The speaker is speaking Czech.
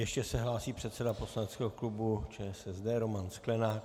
Ještě se hlásí předseda poslaneckého klubu ČSSD Roman Sklenák.